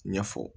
Ɲɛfɔ